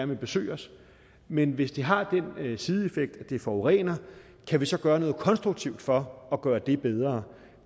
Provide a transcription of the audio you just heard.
vil besøge os men hvis det har den sideeffekt at det forurener kan vi så gøre noget konstruktivt for at gøre det bedre